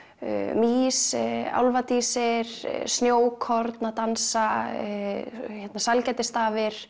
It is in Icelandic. mýs álfadísir snjókorn að dansa